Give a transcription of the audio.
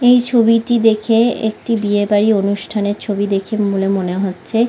এই ছবিটি দেখে একটি বিয়েবাড়ি অনুষ্ঠানের ছবি দেখে বলে মনে হচ্ছে।